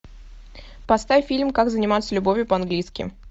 поставь фильм как заниматься любовью по английски